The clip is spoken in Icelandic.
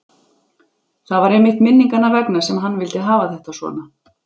Það var einmitt minninganna vegna sem hann vildi hafa þetta svona.